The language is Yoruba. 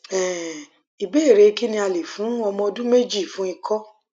um ìbéèrè kí ni a lè fún ọmọ ọdún méjì fún ikọ